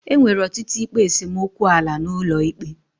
Enwere ọtụtụ ikpe esemokwu ala n'ụlọ ikpe.